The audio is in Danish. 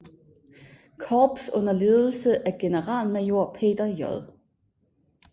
Korps under ledelse af generalmajor Peter J